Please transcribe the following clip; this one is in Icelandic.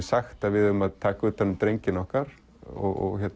sagt að við eigum að taka utan um drengina okkar og